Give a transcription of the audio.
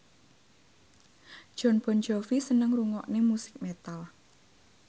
Jon Bon Jovi seneng ngrungokne musik metal